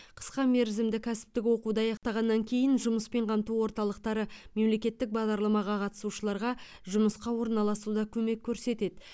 қысқа мерзімді кәсіптік оқуды аяқтағаннан кейін жұмыспен қамту орталықтары мемлекеттік бағдарламаға қатысушыларға жұмысқа орналасуда көмек көрсетеді